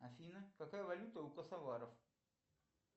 афина какая валюта у косоваров